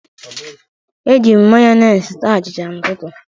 Ejiri m mayonis taa achicha n'ụtụtụ.